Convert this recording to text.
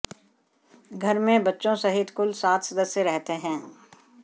घर में बच्चों सहित कुल सात सदस्य रहते हैं